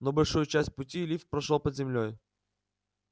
но большую часть пути лифт прошёл под землёй